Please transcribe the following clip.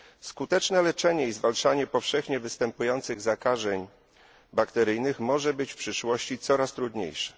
Skuteczne leczenie i zwalczanie powszechnie występujących zakażeń bakteryjnych może być w przyszłości coraz trudniejsze.